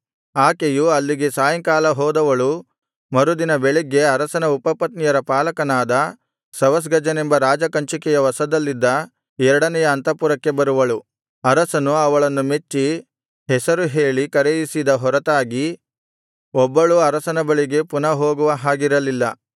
ಆಕೆಯು ಅಲ್ಲಿಗೆ ಸಾಯಂಕಾಲ ಹೋದವಳು ಮರುದಿನ ಬೆಳಿಗ್ಗೆ ಅರಸನ ಉಪಪತ್ನಿಯರ ಪಾಲಕನಾದ ಶವಷ್ಗಜನೆಂಬ ರಾಜಕಂಚುಕಿಯ ವಶದಲ್ಲಿದ್ದ ಎರಡನೆಯ ಅಂತಃಪುರಕ್ಕೆ ಬರುವಳು ಅರಸನು ಅವಳನ್ನು ಮೆಚ್ಚಿ ಹೆಸರು ಹೇಳಿ ಕರೆಯಿಸಿದ ಹೊರತಾಗಿ ಒಬ್ಬಳೂ ಅರಸನ ಬಳಿಗೆ ಪುನಃ ಹೋಗುವ ಹಾಗಿರಲಿಲ್ಲ